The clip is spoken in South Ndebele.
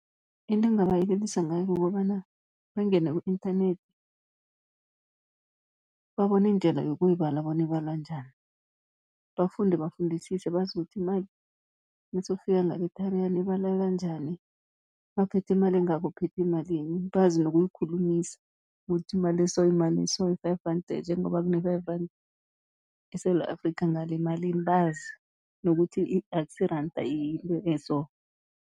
Into engingabayelelisa ngayo kukobana bangene ku-internet, babone indlela yokuyibala bona ibalwa njani. Bafunde bafundisise bazi ukuthi imali nasewufika ngale eTariyana, ibaleka njani, nawuphethe imali engaka uphethe malini. Bazi nokuyikhulumisa kuthi imali eso yimali eso, yi-five rand njengoba kune-five rand eSewula Afrikha, ngale yimalini bazi. Nokuthi akusi yiranda yinto e-so.